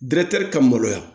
ka maloya